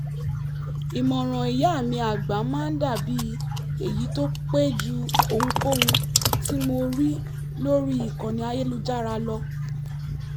ìmọ̀ràn ìyá mi àgbà máa ń dà bí èyí tó pé ju ohunkóhun tí mo rí lórí ìkànnì ayélujára lọ